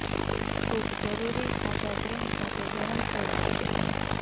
soup જરૂરી ખાટા cream સાથે ગરમ સેવા આપે છે